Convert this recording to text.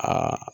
Ka